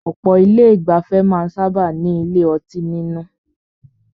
Ọ̀pọ̀ ilé ìgbafẹ́ máà ń sábáà ní ilé ọtí nínú.